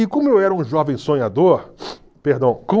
E como eu era um jovem sonhador, perdão, com...